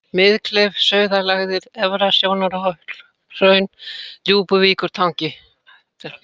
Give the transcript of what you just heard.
Miðkleif, Sauðalægðir, Efra-Sjónarhraun, Djúpuvíkurtangi